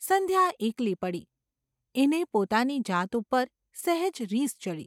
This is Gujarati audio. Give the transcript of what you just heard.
સંધ્યા એકલી પડી. એને પોતાની જાત ઉપર સહેજ રીસ ચડી.